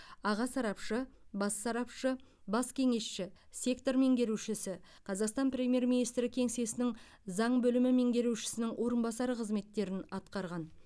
аға сарапшы бас сарапшы бас кеңесші сектор меңгерушісі қазақстан премьер министрі кеңсесінің заң бөлімі меңгерушісінің орынбасары қызметтерін атқарған